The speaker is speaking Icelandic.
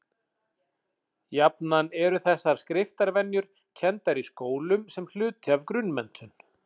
Jafnan eru þessar skriftarvenjur kenndar í skólum sem hluti af grunnmenntun.